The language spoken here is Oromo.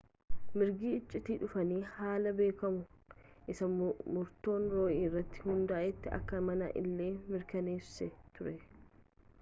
mirga iccitii dhuunfaa haalaan beekamu isa murtoon roo'ii irratti hundaa'etti akka amane illee mirkaneessee ture